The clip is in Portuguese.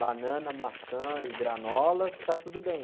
banana, maçã e granola, que está tudo bem.